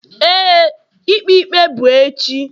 Éè, ikpe ikpe bụ echi.